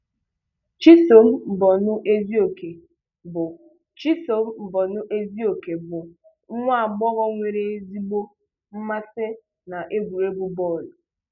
Chisom Mbonu-Ezeoke bụ Chisom Mbonu-Ezeoke bụ nwa agbọghọ nwere ezigbo mmasị na egwuregwu bọọlụ.